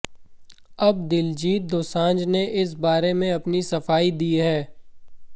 अब दिलजीत दोसांझ ने इस बारे में अपनी सफाई दी है